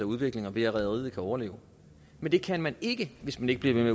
udvikling og ved at rederiet kan overleve men det kan man ikke hvis man ikke bliver ved